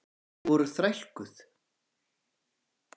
Þau voru þrælkuð.